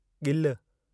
ॻिलु